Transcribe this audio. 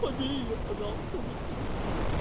побей её пожалуйста вместо меня